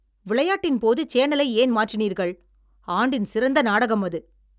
விளையாட்டின் போது சேனலை ஏன் மாற்றினீர்கள்? ஆண்டின் சிறந்த நாடகம் அது!